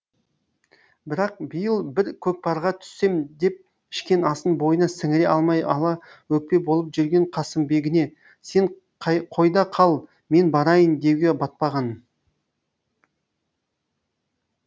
бірақ биыл бір көкпарға түссем деп ішкен асын бойына сіңіре алмай ала өкпе болып жүрген қасымбегіне сен қойда қал мен барайын деуге батпаған